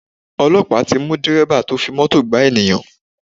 Ọlọ́pàá ti mú Dẹ̀rẹ́bà tó fi Mọ́tò gaá ènìyàn.